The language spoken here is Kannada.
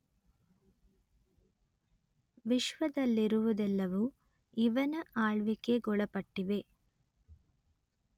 ವಿಶ್ವದಲ್ಲಿರುವುದೆಲ್ಲವೂ ಇವನ ಆಳ್ವಿಕೆಗೊಳಪಟ್ಟಿವೆ